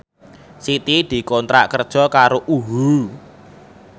Siti dikontrak kerja karo UHU